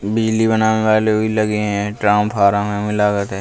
बिजली बनावे वाले भी लगे हैं। ट्रामफारम हमें लागत है।